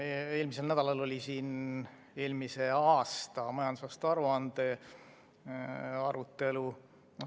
Eelmisel nädalal oli siin eelmise aasta majandusaasta aruande arutelu.